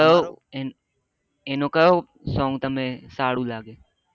એનો એનું કયો સોંગ તમને સારું લાગે